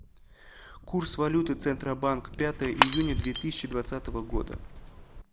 курс валюты центробанк пятое июня две тысячи двадцатого года